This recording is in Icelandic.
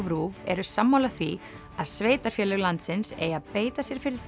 RÚV eru sammála því að sveitarfélög landsins eigi að beita sér fyrir